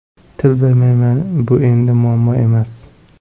Til bilmayman Bu endi muammo emas.